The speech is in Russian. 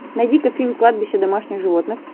найди ка фильм кладбище домашних животных